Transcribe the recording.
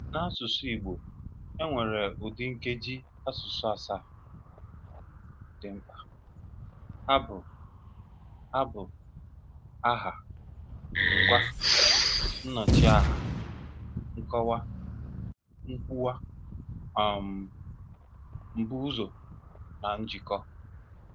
N'asụsụ Igbo, e nwere ụdị Nkeji asụsụ asaa (7) dị mkpa, ha bụ: ha bụ: Aha, Ngwaa, Nnọchiaha, Nkọwa, Nkwuwa, um Mbuụzọ na Njikọ